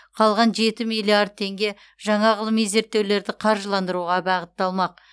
қалған жеті миллиард теңге жаңа ғылыми зерттеулерді қаржыландыруға бағытталмақ